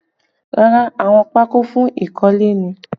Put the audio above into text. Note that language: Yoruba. Rárá, àwọn pako fún ikanle ni